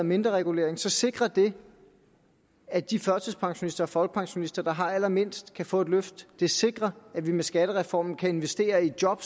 mindre regulering så sikrer det at de førtidspensionister og folkepensionister der har allermindst kan få et løft og det sikrer at vi med skattereformen kan investere i job